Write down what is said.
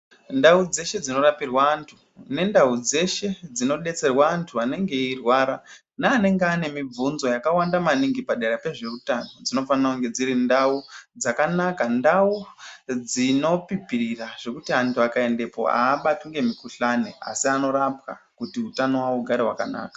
Ndau dzeshe dzino rapirwa andu ne ndau dzeshe dzinodeserwa andu anenge eirwara ne anenge aine mibvunzo yakawanda maningi padera pezveutono dzinofanirwe dziri ndau dzakanaka ndau dzinopipira zvekuti andu akaendepo abatwi ngemu kuhlani asi anorapwa kuti hutano hwawo hugare hwakanaka .